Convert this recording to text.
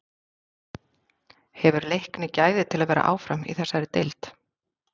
Hefur Leiknir gæði til að vera áfram í þessari deild?